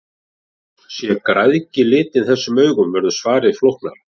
Sé græðgi litin þessum augum verður svarið flóknara.